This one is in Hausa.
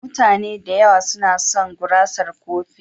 Mutane da yawa suna son gurasar kofi.